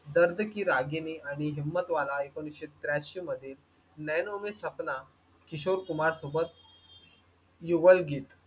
दर्द की रागिणी आणि हिम्मतवाला ऐकोनिसशे त्रांशी मध्ये नैनों मे सपना किशोर कुमार सोबत युवल गीत